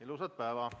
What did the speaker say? Ilusat päeva!